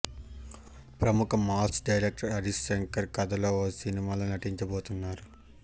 ప్రముఖ mass director Harish Shankar కథతో ఓ సినిమాలో నటించబోతున్నారు